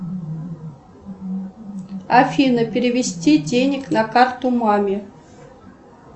афина перевести денег на карту маме